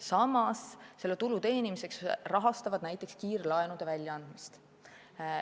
Samas rahastavad nad tulu teenimiseks näiteks kiirlaenude väljaandmist.